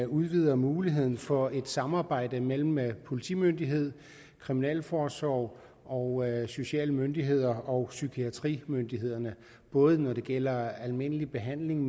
udvider muligheden for et samarbejde mellem mellem politimyndigheder kriminalforsorg og sociale myndigheder og psykiatrimyndigheder både når det gælder almindelig behandling